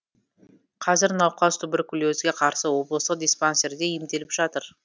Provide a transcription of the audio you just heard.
қазір науқас туберкулезге қарсы облыстық диспансерде емделіп жатыр